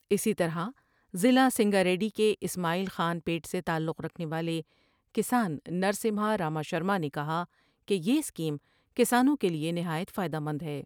اسی طرح ضلع سنگاریڈی کے اسماعیل خان پیٹ سے تعلق رکھنے والے کسان نرسمہارا ماشرمانے کہا کہ یہ اسکیم کسانوں کے لیے نہایت فائدہ مند ہے ۔